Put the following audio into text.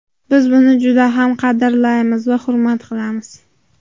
Biz buni juda ham qadrlaymiz va hurmat qilamiz.